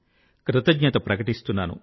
కృతజ్ఞత ప్రకటిస్తున్నాను